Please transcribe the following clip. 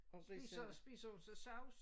Spiser spiser hun så sovs?